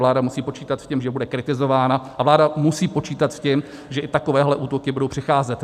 Vláda musí počítat s tím, že bude kritizována, a vláda musí počítat s tím, že i takovéhle útoky budou přicházet.